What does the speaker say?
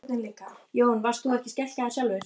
Jón: Varst þú skelkaður sjálfur?